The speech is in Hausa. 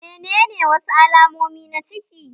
Menene wasu alamomi na ciki?